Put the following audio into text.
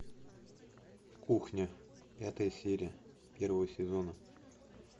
кухня пятая серия первого сезона